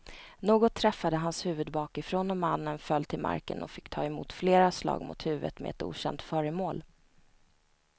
Något träffade hans huvud bakifrån och mannen föll till marken och fick ta emot flera slag mot huvudet med ett okänt föremål.